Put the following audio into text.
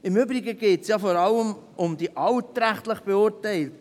Im Übrigen geht es ja vor allem um die altrechtlich Beurteilten.